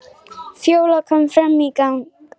Fjóla kom fram í gang.